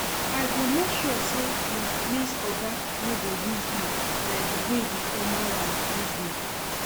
I go make sure say my next oga no go use me like the way the former one use me